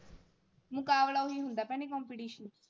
ਮੁਕਾਬਲਾ ਓਹੀ ਹੁੰਦਾ ਭੈਣੇ